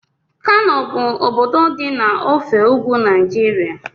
Kano bụ obodo dị na ofe ugwu Naịjirịa